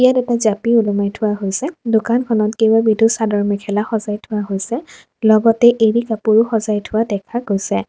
ইয়াত এটা জাপি ওলোমাই থোৱা হৈছে দোকানখনত কেইবাবিধো চাদৰ-মেখেলা সজাই থোৱা হৈছে লগতে এড়ি কাপোৰো সজাই থোৱা দেখা গৈছে।